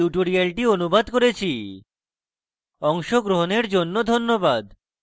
অংশগ্রহনের জন্য ধন্যবাদ